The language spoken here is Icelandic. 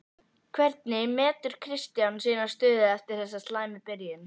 Hvernig metur Kristján sína stöðu eftir þessa slæmu byrjun?